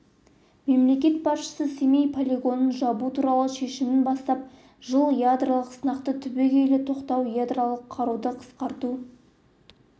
мемлекет басшысы семей полигонын жабу туралы шешімінен бастап жыл ядролық сынақты түбегейлі тоқтату ядролық қаруды қысқарту